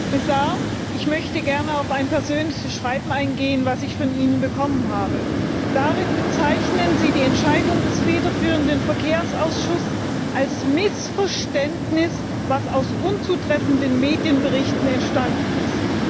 Herr Präsident! Herr Kommissar, ich möchte gerne auf ein persönliches Schreiben eingehen, das ich von Ihnen bekommen habe. Darin bezeichnen Sie die Entscheidung des federführenden Verkehrsauschusses als Missverständnis, das aus unzutreffenden Medienberichten entstanden ist.